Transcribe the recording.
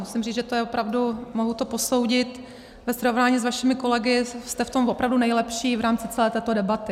Musím říct, že to je opravdu, mohu to posoudit, ve srovnání s vašimi kolegy jste v tom opravdu nejlepší v rámci celé této debaty.